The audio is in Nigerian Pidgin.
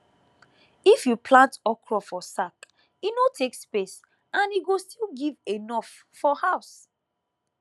if you plant okra for sack e no take space and e go still give enough for house